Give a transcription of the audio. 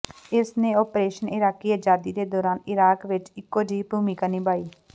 ਇਸ ਨੇ operation Iraqi ਆਜ਼ਾਦੀ ਦੇ ਦੌਰਾਨ ਇਰਾਕ ਵਿਚ ਇਕੋ ਜਿਹੀ ਭੂਮਿਕਾ ਨਿਭਾਈ ਹੈ